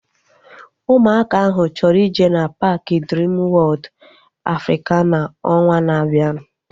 Ụmụaka ahu chọrọ ije na paaki Driim Wọod Afrikana ọnwaa na-abianu